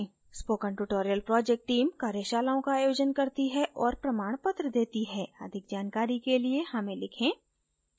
spoken tutorial project team कार्यशालाओं का आयोजन करती है और प्रमाणपत्र देती है अधिक जानकारी के लिए हमें लिखें